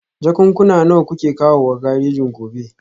Jakunkuna nawa kuke kawowa garejin gobe?